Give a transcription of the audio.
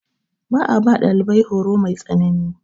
Ba a ba ɗalibai horo mai tsanani.